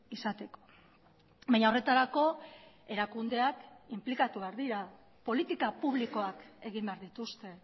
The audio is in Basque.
izateko baina horretarako erakundeak inplikatu behar dira politika publikoak egin behar dituzte